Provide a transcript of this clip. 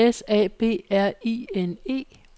S A B R I N E